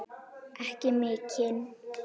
Ekki mikinn.